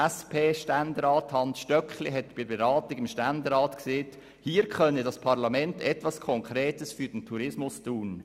SP-Ständerat Hans Stöckli sagte bei der Beratung im Ständerat, hier könne das Parlament etwas Konkretes für den Tourismus tun.